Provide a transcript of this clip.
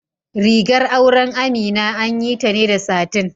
Rigar auren Amina an yi ta ne da satin.